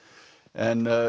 en